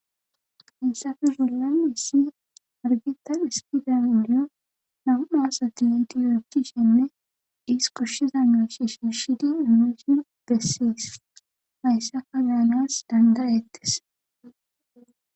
issafe zulami issi argitan ispidan inliyo nauaas ati entiyorokishenne dhiis koshsheza nerashe she shidi imusin bessees hayssa kazaanas dandayettes